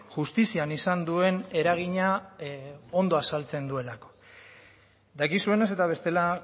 justizian izan duen eragina ondo azaltzen duelako dakizuenez eta bestela